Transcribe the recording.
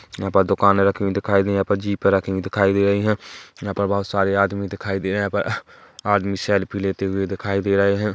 यहाँ पर दुकाने रखी हुई दिखाई दे रही यहाँ पर जीपे रखी हुई दिखाई दे रही है यहाँ पर बहोत सारे आदमी दिखाई दे रहे है यहाँ पर आदमी सेल्फ़ी लेते हुए दिखाई दे रहे है।